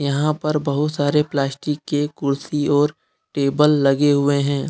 यहां पर बहुत सारे प्लास्टिक के कुर्सी और टेबल लगे हुए हैं।